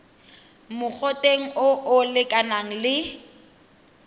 mogoteng o o lekanang le